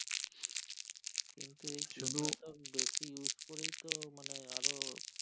কিন্তু এই কীটনাশক বেশি use করেই তো মানে আরো।